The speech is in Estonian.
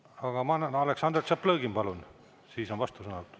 Aga ma annan, Aleksandr Tšaplõgin, palun, ja siis on vastusõnavõtt.